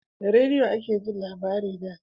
Da rediyo ake jin labarai da